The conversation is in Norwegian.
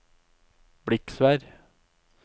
Bliksvær